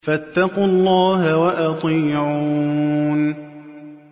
فَاتَّقُوا اللَّهَ وَأَطِيعُونِ